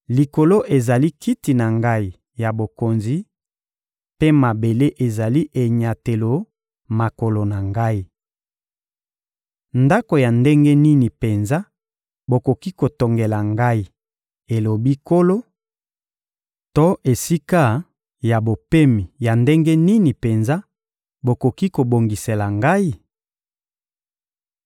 «Likolo ezali Kiti na Ngai ya bokonzi, mpe mabele ezali enyatelo makolo na Ngai. Ndako ya ndenge nini penza bokoki kotongela Ngai, elobi Nkolo, to esika ya bopemi ya ndenge nini penza bokoki kobongisela Ngai?